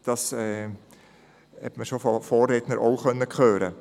das haben bereits die Vorredner gesagt.